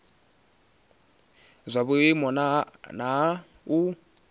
zwa vhuimo ha nha hu